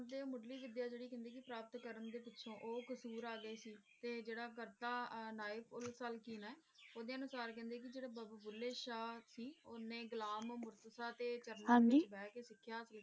ਊ ਕਸੂਰ ਅਗੇ ਸੀ ਤੇ ਜੇਰਾ ਕਰਤਾ ਨਾਇਕ ਉਲ ਸਲ੍ਫੀਨ ਆਯ ਓਦੇ ਅਨੁਸਾਰ ਕੇਹ੍ਨ੍ਡੇ ਕੀ ਜੇਰਾ ਬਾਬਾ ਭੁੱਲੇ ਸ਼ਾਹ ਸੀ ਓਨੇ ਗੁਲਾਮ ਮੁਹਮ੍ਮਦ ਬੋਤਾ ਦੇ ਹਾਂਜੀ ਕ਼ਾਡਮੈਨ ਚ ਬੇਹ ਕੇ ਸਿਖਯ ਸੀ